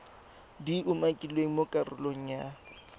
di umakilweng mo karolong ya